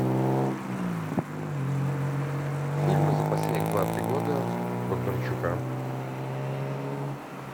фильмы за последних два три года бондарчука